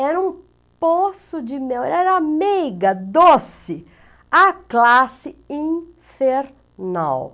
Era um poço de mel, era meiga, doce, a classe infernal.